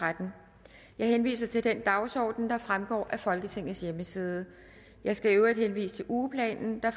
tretten jeg henviser til den dagsorden der fremgår af folketingets hjemmeside jeg skal i øvrigt henvise til ugeplanen der